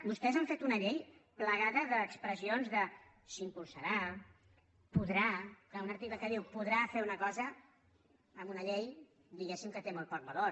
vostès han fet una llei plagada d’expressions de s’impulsarà podrà clar un article que diu podrà fer una cosa en una llei diguéssim que té molt poc valor